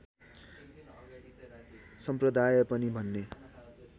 सम्प्रदाय पनि भन्ने